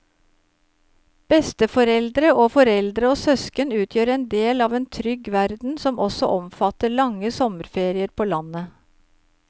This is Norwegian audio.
Besteforeldre og foreldre og søsken utgjør en del av en trygg verden som også omfatter lange sommerferier på landet.